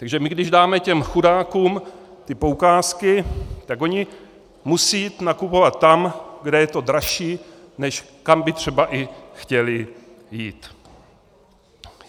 Takže my když dáme těm chudákům ty poukázky, tak oni musí jít nakupovat tam, kde je to dražší, než kam by třeba i chtěli jít.